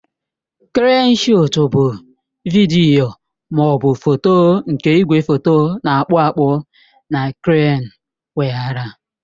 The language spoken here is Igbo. Kreenụ shọọtụ bụ vidiyo ma ọ bụ foto nke igwefoto na-akpụ akpụ na kreenụ weghaara.